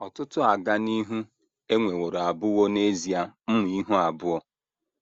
Ọtụtụ “ ọganihu ” e nweworo abụwo n’ezie mma ihu abụọ.